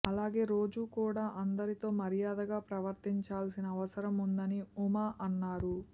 అలాగే రోజా కూడా అందరితో మర్యాదగా ప్రవర్తించాల్సిన అవసరం ఉందని ఉమ అన్నారు